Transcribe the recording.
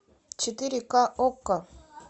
четыре ка окко